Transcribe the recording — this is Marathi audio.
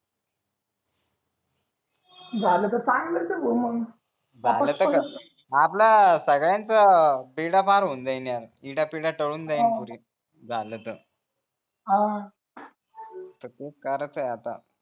झाल तर चागलच आहे भाऊ मग आपला सगळ्याचं बेडा पार होऊन जाईल यार इडा पिडा तडून जाईल पुरी झाल तर ह काय आता